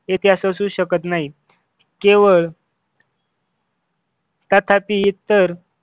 इतिहास असू शकत नाही केवळ तथापि इतर